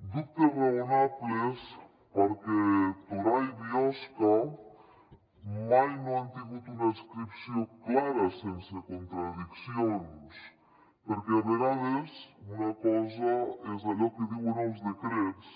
dubtes raonables perquè torà i biosca mai no han tingut una adscripció clara sense contradiccions perquè a vegades una cosa és allò que diuen els decrets